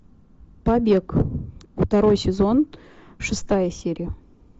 побег второй сезон шестая серия